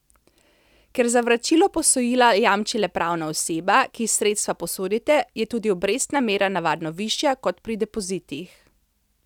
Ker za vračilo posojila jamči le pravna oseba, ki ji sredstva posodite, je tudi obrestna mera navadno višja kot pri depozitih.